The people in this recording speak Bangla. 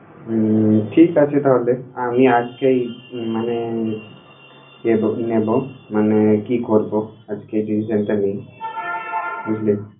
উম ঠিক আছে তাহলে। আমি আজকেই মানে এব নেবো মানে, কি করব আজকেই decision টা নিই, বুঝলি!